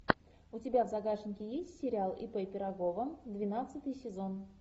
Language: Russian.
у тебя в загашнике есть сериал ип пирогова двенадцатый сезон